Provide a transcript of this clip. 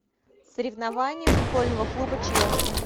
соревнования футбольного клуба челси